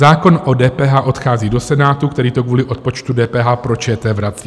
Zákon o DPH odchází do Senátu, který to kvůli odpočtu DPH pro ČT vrací.